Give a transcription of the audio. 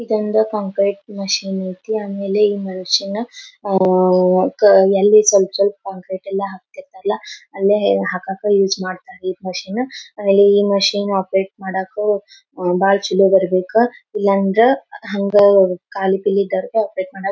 ಇದೊಂದು concrete machine ಐತಿ ಆಮೇಲೆ ಈ ಮಿಷನ್ನ ಅಹ್ಹ್ ಕ ಎಲ್ಲಿ ಸ್ವಲ್ಪ ಸ್ವಲ್ಪ ಕಾಂಕ್ರೀಟ್ ಎಲ್ಲಾ ಹಾಕ್ಕತ್ತಿರತ್ತಾರಲ್ಲಾ ಅಲ್ಲೇ ಹಾಕಕ್ಕ ಯೂಸ್ ಮಾಡತ್ತಾರೆ ಮಿಷನ್. ಆಮೇಲೆ ಈ ಮಿಷನ್ ಆಪರೇಟ್ ಮಾಡಕ್ಕ ಬಹಳ್ ಚಲೋ ಬರಬೆಕ್ಕ ಇಲ್ಲಾ ಅಂದ್ರ ಹಂಗ್ ಕಾಲಿ ಪಿಲಿ ಆಪರೇಟ್ ಮಾಡಕ್ಕ--